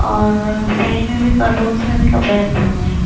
और साइड में भी कार्टून्स में भी कपड़े रखे हुए हैं।